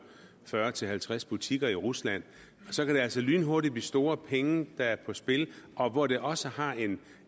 fyrre til halvtreds butikker i rusland så kan det altså lynhurtigt blive store penge der er på spil og hvor det også har en